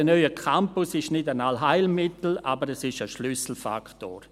Sicher, ein neuer Campus ist kein Allheilmittel, aber es ist ein Schlüsselfaktor.